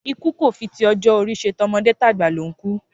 Ikú kò fi ti ojó orí se, tomodé tàgbà ló n kú